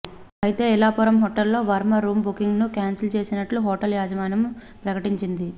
అయితే ఐలాపురం హోటల్లో వర్మ రూమ్ బుకింగ్ను క్యాన్సిల్ చేసినట్టుగా హోటల్ యాజమాన్యం ప్రకటించింది